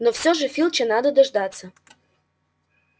но всё же филча надо дождаться